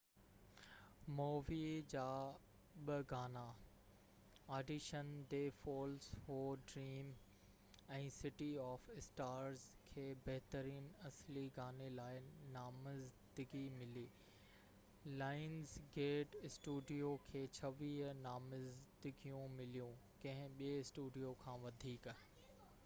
Movie جا ٻہ گانا، audition the fools who dream ۽ city of stars, کي بهترين اصلي گاني لاءِ نامزدگي ملي. لائنز گيٽ اسٽوڊيو کي 26 نامزدگيون مليون — ڪنهن ٻي اسٽوڊيو کان وڌيڪ